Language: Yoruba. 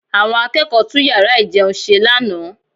Àwọn akẹ́kọ̀ọ́ tún yàrá ìjẹun ṣe lánàá